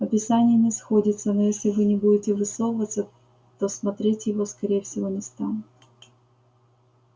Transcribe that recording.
описание не сходится но если вы не будете высовываться то смотреть его скорее всего не станут